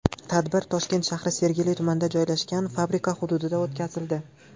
Tadbir Toshkent shahri Sergeli tumanida joylashgan fabrika hududida o‘tkazildi.